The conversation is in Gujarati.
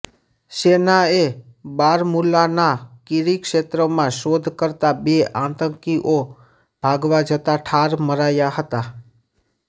સેનાએ બારમુલાના કીરી ક્ષેત્રમાં શોધ કરતા બે આતંકીઓ ભાગવા જતા ઠાર મરાયા હતા